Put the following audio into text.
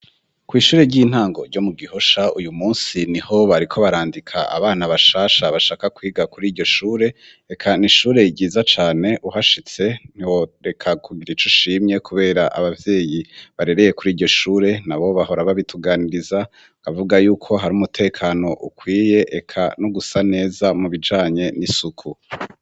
Kw' ishure ry'intango ryo mu Gihosha uyu munsi niho bariko barandika abana bashasha bashaka kwiga kuri iryo shure; eka ni ishure ryiza cane uhashitse ntiwo reka kugira ico ushimye kubera abavyeyi barereye kuri iryo shure na bo bahora babituganiriza bavuga y'uko hari umutekano ukwiye, eka no gusa neza mu bijanye n'isuku.